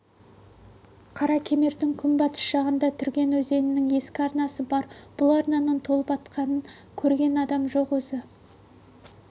қаракемердің күнбатыс жағында түрген өзенінің ескі арнасы бар бұл арнаның толып аққанын көрген адам жоқ өзі